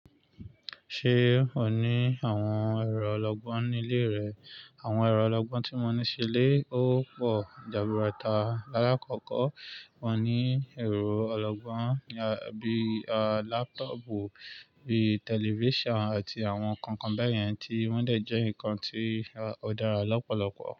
Ṣé o ní àwọn ẹ̀rọ ọlọ́gbọ́n nílé rẹ? Àwọn ẹ̀rọ ọlọ́gbọ́n tí mo ní sílé ó pọ̀ jaburata. Láàkọ́kọ́, mo ní ẹ̀rọ ọlọ́gbọ́n bí i laptop, bí i television àti àwọn nǹkan kan bẹ́ẹ̀ yẹn tí wọ́n dẹ̀ jẹ́ nǹkan tí ó dára lọ́pọ̀lọpọ̀